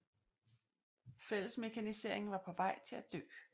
Fællesmekaniseringen var på vej til at dø